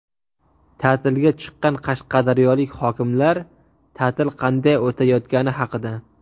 Ta’tilga chiqqan qashqadaryolik hokimlar ta’til qanday o‘tayotgani haqida.